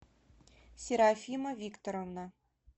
серафима викторовна